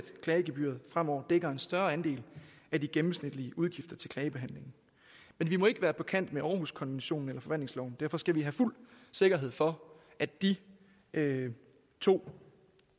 klagegebyret fremover dækker en større andel af de gennemsnitlige udgifter til klagebehandling men vi må ikke være på kant med århuskonventionen og derfor skal vi have fuld sikkerhed for at de to